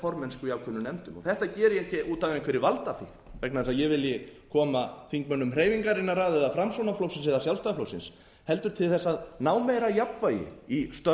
formennsku í ákveðnum nefndum þetta geri ég ekki út af einhverri valdafíkn vegna þess að ég vilji koma þingmönnum hreyfingarinnar að eða framsóknarflokksins eða sjálfstæðisflokksins heldur til að ná meira jafnvægi í